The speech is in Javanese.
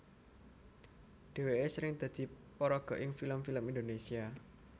Dhèwèké sering dadi paraga ing film film Indonésia